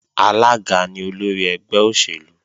Alága ni olórí ẹgbẹ́ òṣèlú